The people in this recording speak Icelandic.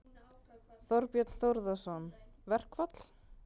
Þorbjörn Þórðarson: Verkfall?